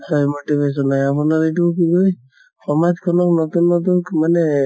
হয় motivation হয় আপোনাৰ এইটো কি কয় সমাজ খনক নতুন নতুন মানে